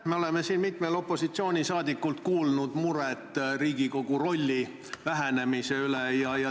Me oleme mitmelt opositsiooni liikmelt kuulnud murest Riigikogu rolli vähenemise üle.